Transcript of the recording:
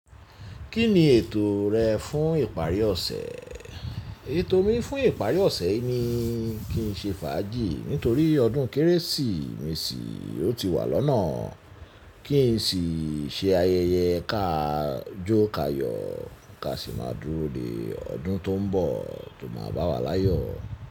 Kí ni ètò rẹ fún ìparí ọ̀sẹ̀? Ètò mi fún ìparí ọ̀sẹ̀ ni kí n ṣe fàájì nítorí ọdún kérésìmesì ò ti wà lọ́nà. Kí n sì ṣe ayẹyẹ ká jó ká yọ̀, ká sì máa dúró de ọdún tó ń bọ̀ tó máa bá wa láyọ̀.